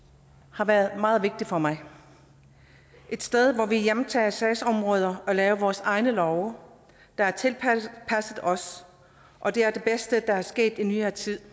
har været meget vigtigt for mig et sted hvor vi hjemtager sagsområder og laver vores egne love der er tilpasset os og det er det bedste der er sket i nyere tid